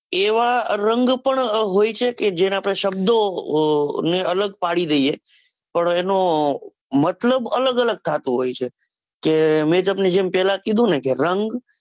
એવા રંગ પણ હોય છે કે જેને આપડે શબ્દોને અલગ પડી દઈએ પણ એનો મતલબ અલગ અલગ થતો હોય છે, કે મેં તમને જેમ પેલા જ કીધું ને કે રંગ